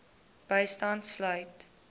bystand sluit